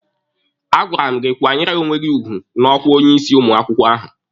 A gwara m gị kwanyere onwe gị ugwu n'ọkwa onye isi ụmụ akwụkwọ ahụ!